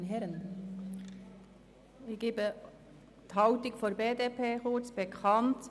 Ich gebe kurz die Haltung der BDP bekannt.